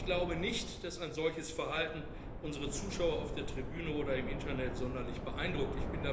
Ich glaube nicht, dass ein solches Verhalten unsere Zuschauer auf der Tribüne oder im Internet sonderlich beeindruckt.